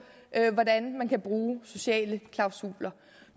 hvordan man kan bruge sociale klausuler